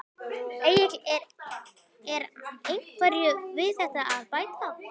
Egill er einhverju við þetta að bæta?